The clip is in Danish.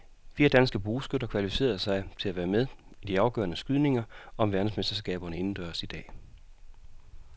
Fire danske bueskytter kvalificerede sig til at være med i de afgørende skydninger om verdensmesterskaberne indendørs i dag.